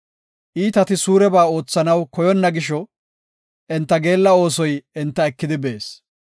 Iitati suureba oothanaw koyonna gisho, enta geella oosoy enta ekidi bees.